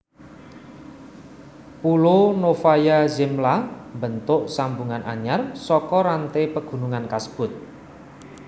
Pulo Novaya Zemlya mbentuk sambungan anyar saka rante pagunungan kasebut